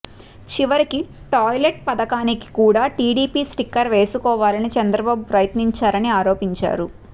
చివరికి టాయ్లెట్ పథకానికి కూడా టీడీపీ స్టిక్కర్ వేసుకోవాలని చంద్రబాబు ప్రయత్నించారని ఆరోపించారు